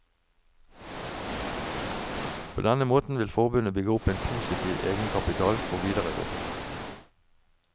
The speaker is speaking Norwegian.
På denne måten vil forbundet bygge opp en positiv egenkapital for videre drift.